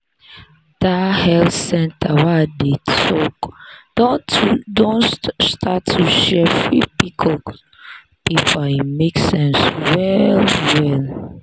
that health center wey i dey talk don start to share free pcos paper e make sense well well.